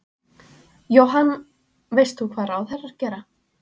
Jóhann: Veist þú hvað ráðherrar gera?